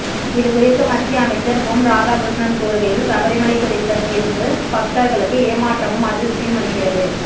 இதுகுறித்து மத்திய அமைச்சர் பொன் ராதாகிருஷ்ணன் கூறுகையில் சபரிமலை குறித்த தீர்ப்பு பக்தர்ளுக்கு ஏமாற்றமும் அதிர்ச்சியும் அளிக்கிறது